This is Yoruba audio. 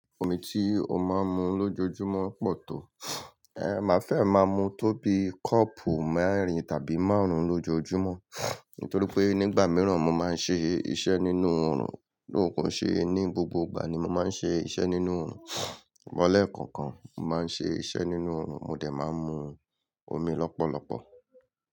Omi ti o máa ń mu lójoojúmọ́ pọ̀ tó. Eh, màá fẹ́ ẹ̀ máa mu tó bí kọ́ọ̀pù mẹ́rin tàbí márùn-ún lójoojúmọ́. Nítorí pé nígbà mìíràn mo máa ń ṣe iṣẹ́ nínú oòrùn, though kò ó ṣe ní gbogbo ìgbà ni mo máa ń ṣe iṣẹ́ nínú oòrùn. Sùgbọ́n lẹ́ẹ̀kọ̀ọ̀kan mo máa ń ṣe iṣẹ́ nínú oòrùn, mo dẹ̀ máa ń mu omi lọ́pọ̀lọpọ̀